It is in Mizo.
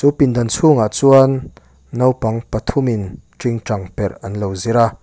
pindan chhungah chuan naupang pathumin tingtang perh an lo zir a.